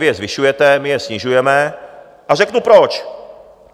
Vy je zvyšujete, my je snižujeme, a řeknu proč.